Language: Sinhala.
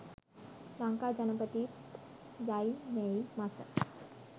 ලංකා ජනපතිත් යයි මැයි මස